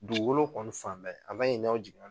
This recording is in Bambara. Dugukolo kɔni fan bɛɛ a man ɲi n'aw jigin